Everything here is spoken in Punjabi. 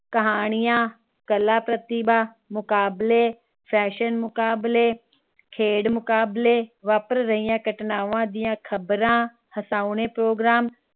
ਕਹਾਣੀਆਂ ਕਲਾ, ਪ੍ਰਤਿਭਾ ਮੁਕਾਬਲੇ, fashion ਮੁਕਾਬਲੇ, ਖੇਡ ਮੁਕਾਬਲੇ ਵਾਪਰ ਰਹੀਆਂ ਘਟਨਾਵਾਂ ਦੀਆਂ ਖ਼ਬਰਾਂ, ਹਸਾਉਣੇ program